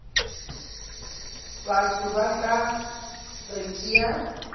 batho ba tla re tšea